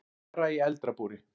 Bara í eldra búri.